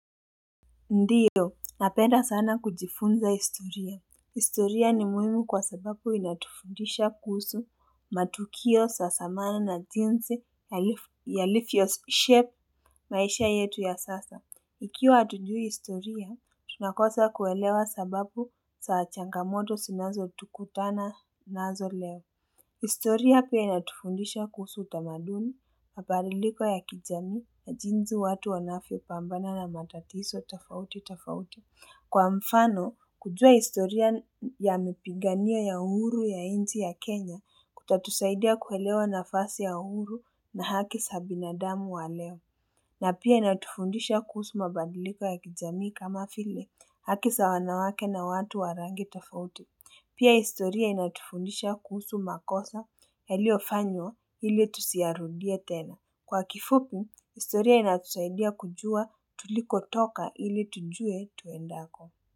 Ndiyo, napenda sana kujifunza historia. Historia ni muhimu kwa sababu inatufundisha kuhusu matukio sa samana na jinsi yalivyoshape maisha yetu ya sasa. Ikiwa hatujui historia, tunakosa kuelewa sababu sa changamoto sinazotukutana nazo leo. Historia pia inatufundisha kuhusu utamaduni, mabadiliko ya kijamii na jinsi watu wanavyopambana na matatiso tofauti tofauti. Kwa mfano, kujua historia ya mipiganio ya uhuru ya nchi ya Kenya kutatusaidia kuelewa nafasi ya uhuru na haki sa binadamu wa leo. Na pia inatufundisha kuhusu mabadiliko ya kijamii kama vile haki sa wanawake na watu wa rangi tofauti. Pia historia inatufundisha kuhusu makosa yaliyofanywa ili tusiyarudie tena. Kwa kifupi, historia inatusaidia kujua tulikotoka ili tujue tuendako.